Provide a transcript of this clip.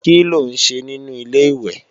Kí ló ń ṣe nínu Ilé-ìwẹ̀?